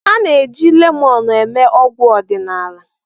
A na-eji lemọnụ eme ọgwụ ọdịnala.